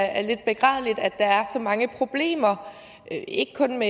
at der er så mange problemer ikke kun